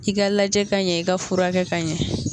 I ka lajɛ ka ɲɛ i ka furakɛ ka ɲɛ